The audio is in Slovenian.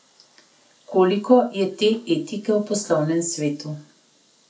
Koliko je te etike v poslovnem svetu?